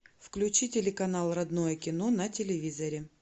включи телеканал родное кино на телевизоре